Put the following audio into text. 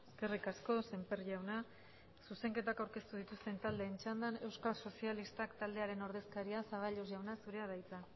eskerrik asko semper jauna zuzenketak aurkeztu dituzten taldeen txandan euskal sozialistak taldearen ordezkaria zaballos jauna zurea da hitza